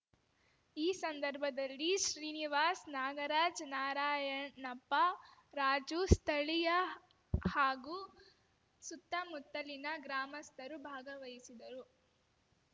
ಈ ಸಂದರ್ಭದಲ್ಲಿ ಶ್ರೀನಿವಾಸ್ ನಾಗರಾಜ್ ನಾರಾಯಣಪ್ಪ ರಾಜು ಸ್ಥಳೀಯ ಹಾಗೂ ಸುತ್ತಮುತ್ತಲಿನ ಗ್ರಾಮಸ್ಥರು ಭಾಗವಹಿಸಿದ್ದರು